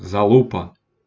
залупа